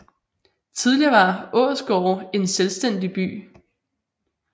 Tidligere var Ålsgårde en selvstændig by